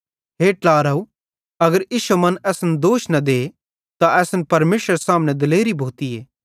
हे ट्लारव अगर इश्शो मन असन दोष न दे त असन परमेशरेरे सामने दिलेरी भोतीए